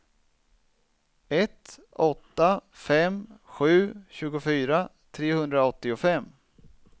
ett åtta fem sju tjugofyra trehundraåttiofem